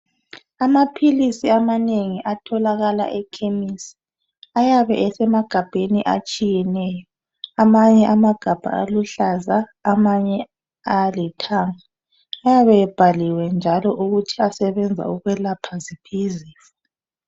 Amaphilizi amanengi atholakala ekhemisi ayabe esemabhodleleni atshiyeneyo amanye amagabha ngaluhlaza amanye ngalithanga ayabe ebhaliwe njalo ukuthi asebenza ukwelapha ziphi izifo.